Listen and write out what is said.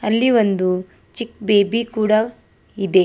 ಅಲ್ಲಿ ಒಂದು ಚಿಕ್ ಬೇಬಿ ಕೂಡ ಇದೆ.